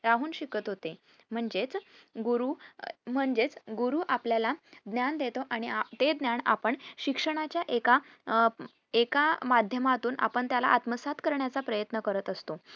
राहून शिकत होते म्हणजेच गुरु अह म्हणजेच गुरु आपल्याला ज्ञान देतो आणि ते ज्ञान आपण शिक्षणाच्या एका अह एका माध्यमातून आपण त्याला आत्मसात करण्याचा प्रयन्त करत असतो